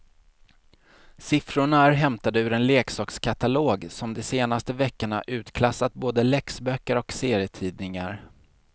Siffrorna är hämtade ur en leksakskatalog som de senaste veckorna utklassat både läxböcker och serietidningar.